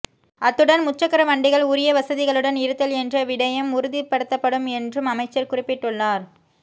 அத்துடன் முச்சக்கர வண்டிகள் உரிய வசதிகளுடன் இருத்தல் என்ற விடயம் உறுதிப்படுத்தப்படும் என்றும் அமைச்சர் குறிப்பிட்டுள்ளார்